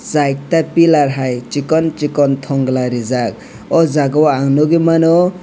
chaita piller hai sikon sikon tongola rijak o jaga o ang nogoimano.